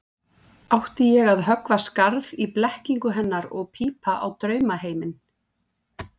Átti ég að höggva skarð í blekkingu hennar og pípa á draumaheiminn?